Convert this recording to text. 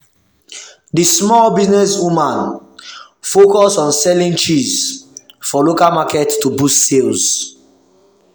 the small business woman focus on selling cheese for local market to boost sales.